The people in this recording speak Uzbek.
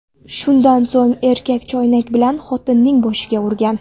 Shundan so‘ng erkak choynak bilan xotinning boshiga urgan.